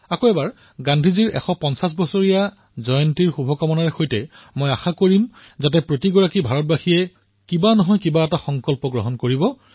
পুনৰবাৰ গান্ধীজীৰ ১৫০তম জন্ম জয়ন্তী উপলক্ষে শুভকামনাৰ সৈতে প্ৰতিজন হিন্দুস্তানীৰ পৰা যিকোনো এটা সংকল্পৰ বাবে অপেক্ষা কৰিছো